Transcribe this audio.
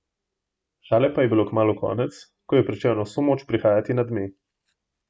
Šale pa je bilo kmalu konec, ko je pričel na vso moč prihajati nadme.